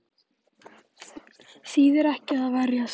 Þýðir ekki að verjast